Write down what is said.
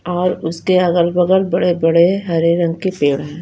और उसके अगल बगल बड़े बड़े हरे रंग के पेड़ है।